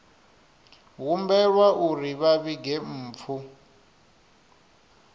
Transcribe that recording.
humbelwa uri vha vhige mpfu